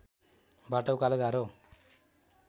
बाटो उकालो गाह्रो